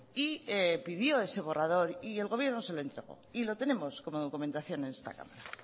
y pidió ese borrador y el gobierno se lo entregó y lo tenemos como documentación en esta cámara